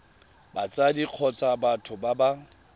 batsadi kgotsa batho ba ba